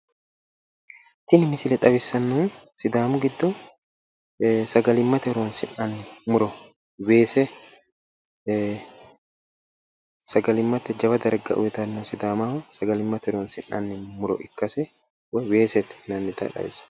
Tini misile xawissannohu sidaamu giddo sagalimmate horoonsi'nanni muro weese sagalimmate jawa darga uyitanno sidaamaho sagalimmate horoonsi'nanni muro ikkase woyi weesete yinannita xawissanno.